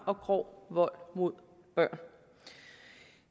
og grov vold mod børn